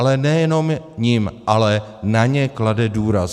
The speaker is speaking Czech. Ale nejenom jim, ale na ně klade důraz.